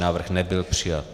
Návrh nebyl přijat.